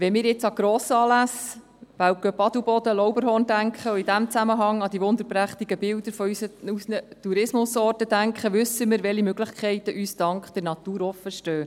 Wenn wir nun an Grossanlässe wie den Weltcup Adelboden/Lauberhorn und in diesem Zusammenhang an die wunderprächtigen Bilder unserer Tourismusorte denken, wissen wir, welche Möglichkeiten uns dank der Natur offenstehen.